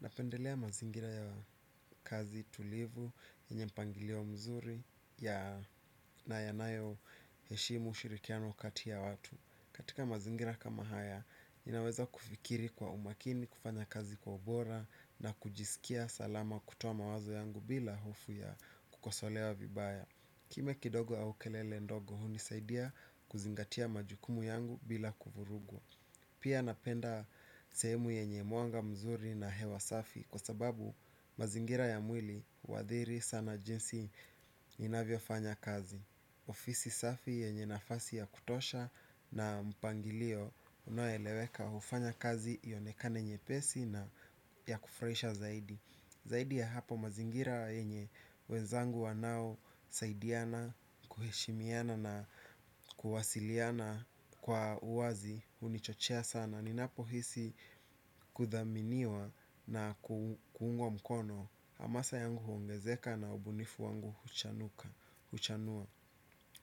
Napendelea mazingira ya kazi tulivu yenye mpangilio mzuri ya na yanayo heshimu ushirikiano kati ya watu. Katika mazingira kama haya, inaweza kufikiri kwa umakini, kufanya kazi kwa ubora na kujisikia salama kutowa mawazo yangu bila hofu ya kukosolewa vibaya. Kimya kidogo au kelele ndogo, hunisaidia kuzingatia majukumu yangu bila kuvurugu. Pia napenda sehemu yenye mwanga mzuri na hewa safi kwa sababu mazingira ya mwili huadhiri sana jinsi inavyo fanya kazi. Ofisi safi yenye nafasi ya kutosha na mpangilio unaoeleweka ufanya kazi ionekane nyepesi na ya kufraisha zaidi. Zaidi ya hapo mazingira yenye, wenzangu wanao, saidiana, kuheshimiana na kuwasiliana kwa uwazi, hunichochea sana. Ninapo hisi kuthaminiwa na kuungwa mkono, hamasa yangu huongezeka na ubunifu wangu huchanua.